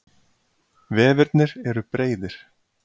Vefirnir eru breiðir.